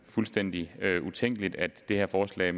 fuldstændig utænkeligt at det her forslag